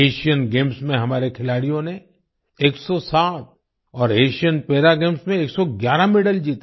Asian games में हमारे खिलाड़ियों ने 107 और एशियन पारा गेम्स में 111 मेडल जीते